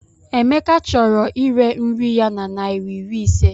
Emeka chọrọ ire nri ya na naira iri ise.